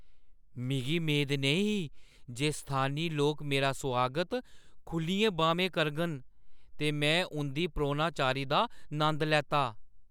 मिगी मेद नेईं ही जे स्थानी लोक मेरा सुआगत खुʼल्लियें बाह्‌में करङन ते में उंʼदी परौह्‌नचारी दा नंद लैता।